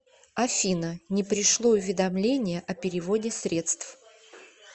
афина не пришло уведомление о переводе средств